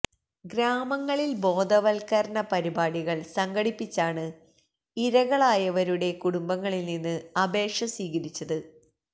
ഗ്രാമങ്ങളില് ബോധവല്ക്കരണ പരിപാടികള് സംഘടിപ്പിച്ചാണ് ഇരകളായവരുടെ കുടുംബങ്ങളില്നിന്ന് അപേക്ഷ സ്വീകരിച്ചത്